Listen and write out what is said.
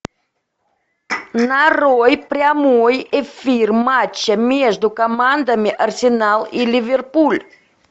нарой прямой эфир матча между командами арсенал и ливерпуль